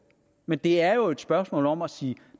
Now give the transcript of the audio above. men det er jo et spørgsmål om at sige